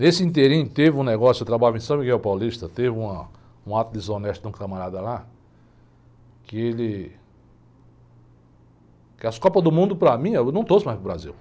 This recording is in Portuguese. Nesse ínterim, teve um negócio, eu trabalhava em, teve uma, um ato desonesto de um camarada lá, que ele... Que as Copas do Mundo, para mim, eu não torço mais para o Brasil.